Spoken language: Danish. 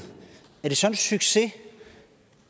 er det så en succes